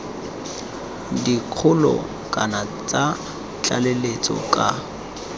dikgolo kana tsa tlaleletso ka